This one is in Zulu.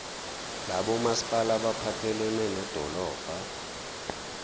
labomasipala abaphathelene nedolobha